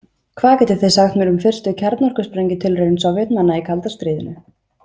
Hvað getið þið sagt mér um fyrstu kjarnorkusprengjutilraun Sovétmanna í kalda stríðinu?